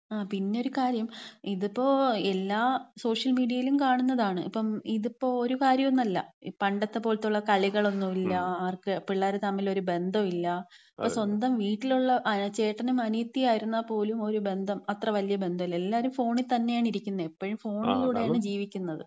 ഉം, പിന്നൊരു കാര്യം ഇതിപ്പം എല്ലാ സോഷ്യൽമീഡിയയിലും കാണുന്നതാണ്. ഇപ്പം ഇതിപ്പം ഒരു കാര്യൊന്നൊല്ല. പണ്ടത്തപോലത്തുള്ള കളികളൊന്നുല്ല. ആർക്ക് പിള്ളേര് തമ്മിലൊരു ഒരു ബദ്ധവുല്ല. ഇപ്പം സ്വന്തം വീട്ടിലുള്ള ചേട്ടനും അനിയത്തിയുമായിരുന്നാ പോലും ഒരു ബന്ധം അത്ര വല്യ ബന്ധം ഇല്ല. എല്ലാരും ഫോണി തന്നെയാണ് ഇരിക്കുന്നത്. എപ്പഴും ഫോണിലൂടെയാണ് ജീവിക്കുന്നത്.